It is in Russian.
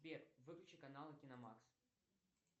сбер выключи каналы киномакс